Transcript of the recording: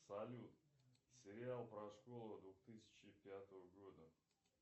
салют сериал про школу двух тысячи пятого года